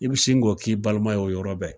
I bi sin k'o k'i baliman ye o yɔrɔ bɛɛ.